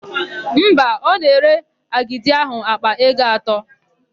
Mba, ọ na-ere agidi áhụ̀ àkpà ego atọ.